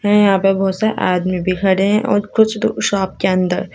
यहां पे बहुत से आदमी भी खड़े है और कुछ तो शॉप के अंदर--